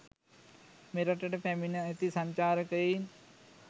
මෙරටට පැමිණ ඇති සංචාරකයින්